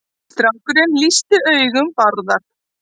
Strákurinn lýsti augum Bárðar.